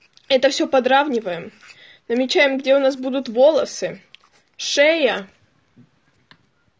это все подразумеваем намечаем где у нас будут волосы шея